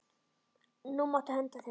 Nú máttu henda þeim.